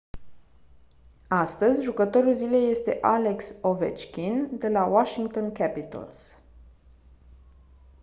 astăzi jucătorul zilei este alex ovechkin de la washington capitals